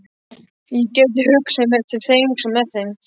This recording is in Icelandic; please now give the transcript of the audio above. ÉG gæti hugsað mér til hreyfings með þeim.